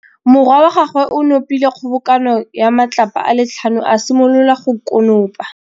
Morwa wa gagwe o nopile kgobokanô ya matlapa a le tlhano, a simolola go konopa.